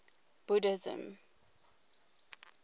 buddhism